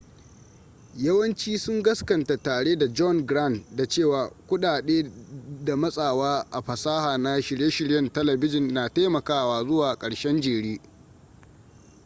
yawanci sun gaskanta tare da john grant da cewa kudade da matsawa a fasaha na shirye-shiryen talabijin na taimakawa zuwa karshen jere